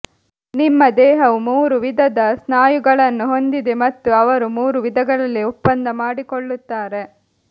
ನಿಮ್ಮ ದೇಹವು ಮೂರು ವಿಧದ ಸ್ನಾಯುಗಳನ್ನು ಹೊಂದಿದೆ ಮತ್ತು ಅವರು ಮೂರು ವಿಧಗಳಲ್ಲಿ ಒಪ್ಪಂದ ಮಾಡಿಕೊಳ್ಳುತ್ತಾರೆ